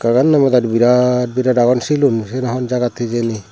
hobar noi pura birat birat agon shilun syen hon jagat hijeni.